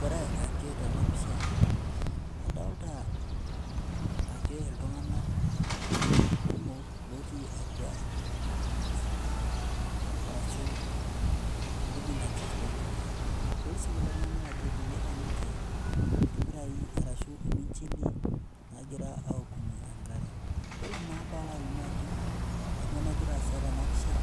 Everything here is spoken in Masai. Ore ake tena pisha, adolita ake iltung'anak kumok lotii atwa ewueji arashu ewueji atuturo ninche. Adol kulo tung'anak ajo ibung'ita ninche irpirai ashu irminjili logira aaokunye enkare. Ore naa paalo alimu ajo kanyoo nagira aasa tena pisha